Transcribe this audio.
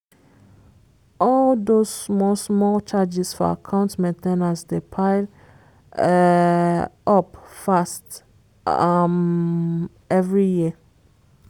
all those small-small charges for account main ten ance dey pile um up fast um every year.